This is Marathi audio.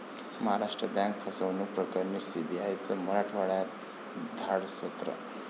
महाराष्ट्र बँक फसवणूक प्रकरणी सीबीआयचं मराठवाड्यात धाडसत्र